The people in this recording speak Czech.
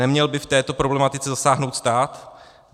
Neměl by v této problematice zasáhnout stát?